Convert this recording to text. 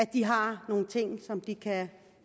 de har nogle ting som de kan